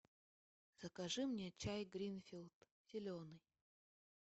закажи мне чай гринфилд зеленый